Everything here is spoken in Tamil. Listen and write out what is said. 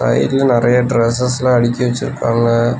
சைடுல நெறைய டிரஸ்சஸ்லா அடிக்கி வெச்சிருக்காங்க.